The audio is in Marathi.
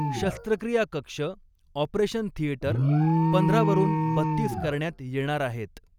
शस्त्रक्रिया कक्ष ऑपरेशन थिएटर पंधरा वरून बत्तीस करण्यात येणार आहेत.